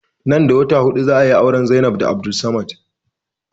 Nan da watanni huɗu za ayi auren Zainab da Abdulsamad